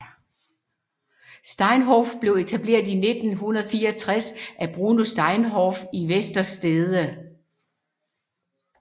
Steinhoff blev etableret i 1964 af Bruno Steinhoff i Westerstede